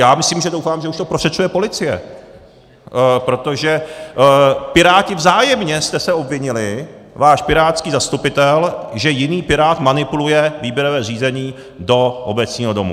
Já myslím, že doufám, že už to prošetřuje policie, protože piráti, vzájemně jste se obvinili, váš pirátský zastupitel, že jiný pirát manipuluje výběrové řízení do Obecního domu.